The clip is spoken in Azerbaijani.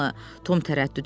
Tom tərəddüd elədi.